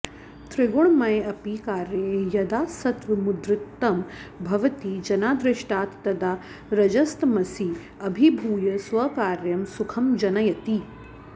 त्रिगुणमयेऽपि कार्ये यदा सत्त्वमुद्रिक्तं भवति जनादृष्टात् तदा रजस्तमसी अभिभूय स्वकार्यं सुखं जनयति